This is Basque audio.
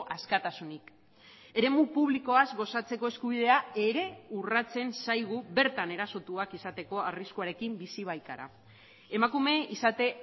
askatasunik eremu publikoaz gozatzeko eskubidea ere urratzen zaigu bertan erasotuak izateko arriskuarekin bizi baikara emakume izate